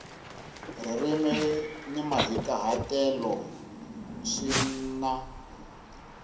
ririmi ni mahikahatelo swi na